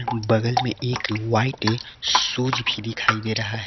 बगल में एक व्हाइट शूज भी दिखाई दे रहा है।